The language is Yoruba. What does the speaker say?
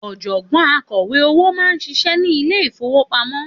Òjògbọ́n akọ̀wé owó máa ń ṣiṣẹ́ ni Ilé-ìfowópamó